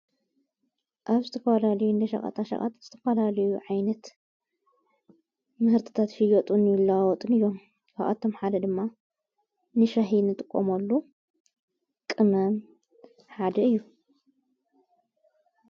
ኣፍ ዝተፈላለዩ እንደሸቀጣሸቓጣት ዝተፈላልዩ ዓይነት ምህርትታት ይሽየጡን ዩሎዋወጡን ኢዮም ካብኣቶም ሓደ ድማ ንሻሕንጥቆምሉ ቕመ ሓድ እዩ::